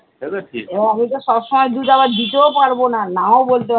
কিন্তু সব সময় দুধ আবার দিতেও পারবো না নাও বলতে পারবো না।